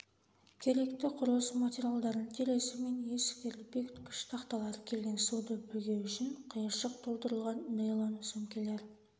керекті құрылыс материалдарын терезе мен есіктерді бекіткіш тақталар келген суды бөгеу үшін қиыршық толтырылған нейлон сөмкелер